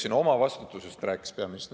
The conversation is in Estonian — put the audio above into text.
Siin peaminister rääkis omavastutusest.